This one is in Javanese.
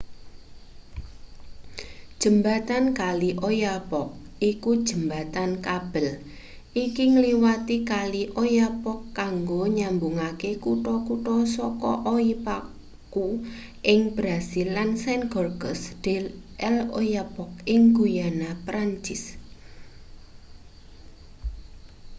jembatan kali oyapock iku jembatan kabel iki ngliwati kali oyapock kanggo nyambungake kutha-kutha saka oiapoque ing brasil lan saint-georges de l'oyapock ing guyana prancis